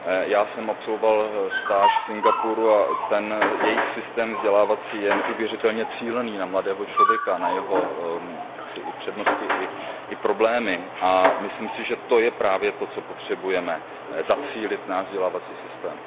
Já jsem absolvoval stáž v Singapuru a ten jejich vzdělávací systém je neuvěřitelně cílený na mladého člověka, na jeho přednosti i problémy a myslím si, že to je právě to, co potřebujeme, zacílit náš vzdělávací systém.